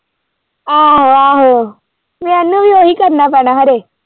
ਆਹੋ-ਆਹੋ ਮੈਨੂੰ ਵੀ ਓਹੀ ਕਰਨਾ ਪੈਣਾ ਖਰੇ।